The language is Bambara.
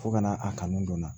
Fo ka na a kanu don n na